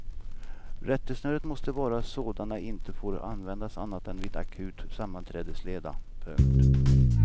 Rättesnöret måste vara att sådana inte får användas annat än vid akut sammanträdesleda. punkt